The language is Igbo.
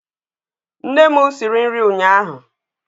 Nne m siri nri ụnyaahụ